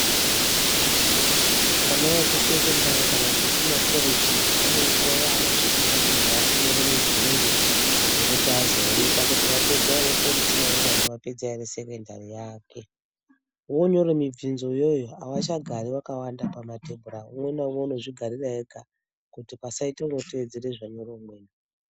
Ana ekusekondari kana kuti ekumakoreji pane nguva yanosvika pakuzi ari kunyora mibvunzo. Yekuti azoonekwa kuti apedza ere korechi kana kuti vapedza ere sekondari yake. Vonyore mibvunzo iyoyo havachagari vakawanda pamatebhura umwe naumwe unozvigarira ega kuti pasaite unotedzera zvanyora umweni.